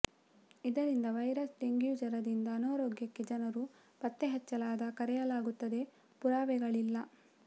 ಇದರಿಂದ virus dengue ಜ್ವರದಿಂದ ಅನಾರೋಗ್ಯಕ್ಕೆ ಜನರ ಪತ್ತೆಹಚ್ಚಲಾದ ಕರೆಯಲಾಗುತ್ತದೆ ಪುರಾವೆಗಳಿಲ್ಲ